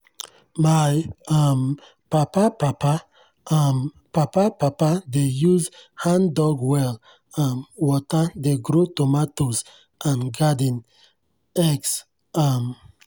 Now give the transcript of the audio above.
my um papa papa um papa papa dey use hand-dug well um water dey grow tomatoes and garden eggs. um